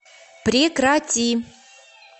прекрати